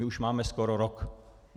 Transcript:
My už máme skoro rok.